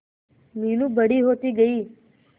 मीनू बड़ी होती गई